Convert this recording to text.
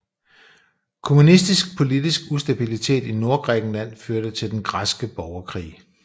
Kommunistisk politisk ustabilitet i Nordgrækenland førte til Den græske borgerkrig